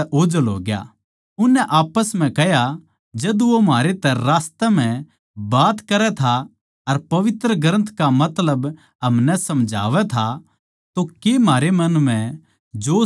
उननै आप्पस म्ह कह्या जद वो म्हारै तै रास्ते म्ह बात करै था अर पवित्र ग्रन्थ का मतलब हमनै समझावै था तो कै म्हारै मन म्ह जोश न्ही आया